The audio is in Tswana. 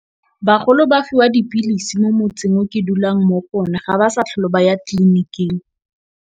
Bagolo ba fiwa dipilisi mo motseng o ke dulang mo go one ga ba sa tlhole ba ya tliliniking.